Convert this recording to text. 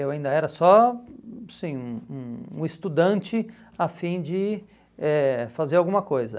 Eu ainda era só assim um um um estudante a fim de eh fazer alguma coisa.